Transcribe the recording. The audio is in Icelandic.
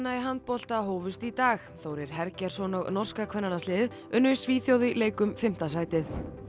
í handbolta hófust í dag Þórir Hergeirsson og norska kvennalandsliðið unnu Svíþjóð í leik um fimmta sætið